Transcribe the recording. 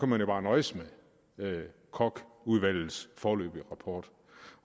man jo bare nøjes med kochudvalgets foreløbige rapport